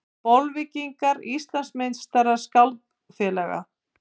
Bolvíkingar Íslandsmeistarar skákfélaga